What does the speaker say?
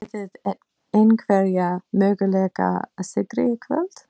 Þetta var nú útúrdúr, við erum að tala um guðspeki.